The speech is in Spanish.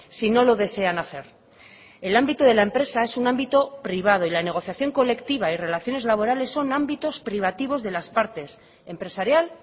si no lo desean hacer el ámbito de la empresa es un ámbito privado y la negociación colectiva y relaciones laborales son ámbitos privativos de las partes empresarial